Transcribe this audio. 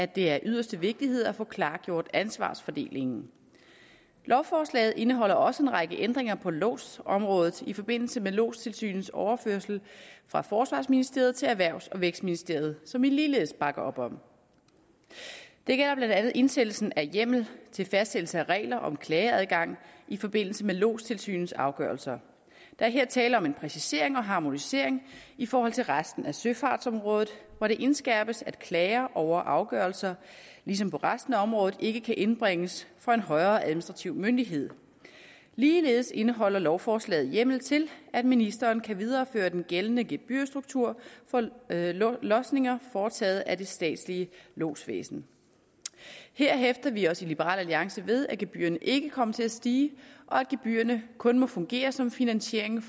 det er af yderste vigtighed at få klargjort ansvarsfordelingen lovforslaget indeholder også en række ændringer på lodsområdet i forbindelse med lodstilsynets overførsel fra forsvarsministeriet til erhvervs og vækstministeriet som vi ligeledes bakker op om det gælder blandt andet indsættelsen af hjemmel til fastsættelse af regler om klageadgang i forbindelse med lodstilsynets afgørelser der er her tale om en præcisering og harmonisering i forhold til resten af søfartsområdet hvor det indskærpes at klager over afgørelser ligesom på resten af området ikke kan indbringes for en højere administrativ myndighed ligeledes indeholder lovforslaget hjemmel til at ministeren kan videreføre den gældende gebyrstruktur for lodsninger foretaget af det statslige lodsvæsen her hæfter vi os i liberal alliance ved at gebyrerne ikke kommer til at stige og at gebyrerne kun må fungere som finansiering